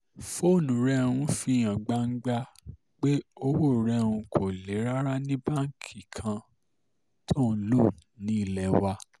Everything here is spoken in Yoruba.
fóònù rẹ̀ um fi hàn gbangba pé owó rẹ̀ um kò le rárá ní báǹkì kan tó ń lọ nílé wa